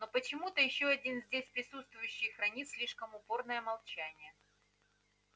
но почему-то ещё один здесь присутствующий хранит слишком упорное молчание